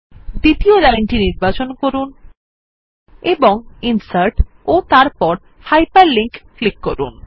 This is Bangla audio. দ্বিতীয় লাইনটি নির্বাচন করুন এবং ইনসার্ট ও তারপর Hyperlink এর উপর ক্লিক করুন